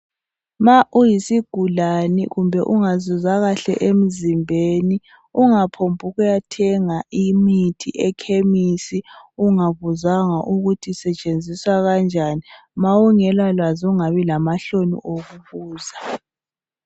ma uyisigulane kumbe ungazizwa kahle emzimbeni ungaphombu ukuyathenga imithi ekhemisi ungabuzanga ukuthi isetshenziswa kanjani ma ungela lwazi ungabi lamahloni okubuza